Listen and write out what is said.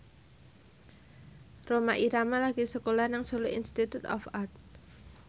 Rhoma Irama lagi sekolah nang Solo Institute of Art